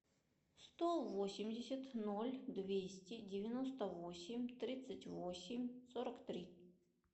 сто восемьдесят ноль двести девяносто восемь тридцать восемь сорок три